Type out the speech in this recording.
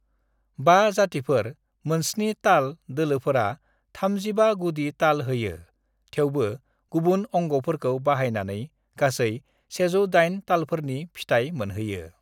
"बा जातिफोर-मोनस्नि ताल दोलोफोरा थामजिबा गुदि ताल होयो, थेउबो गुबुन अंगफोरखौ बाहायनानै गासै 108 तालफोरनि फिथाय मोनहैयो।"